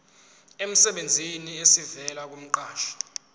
emsebenzini esivela kumqashi